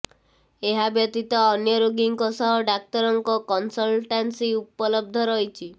ଏହା ବ୍ୟତୀତ ଅନ୍ୟ ରୋଗୀଙ୍କ ସହ ଡାକ୍ତରଙ୍କ କନସଲଟାନ୍ସି ଉପଲବ୍ଧ ରହିଛି